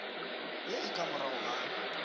ye e ka morago ga